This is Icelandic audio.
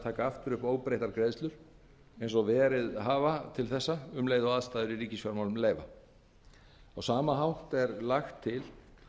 taka aftur upp óbreyttar greiðslur eins og verið hafa til þessa um leið og aðstæður í ríkisfjármálum leyfa á sama hátt er lagt til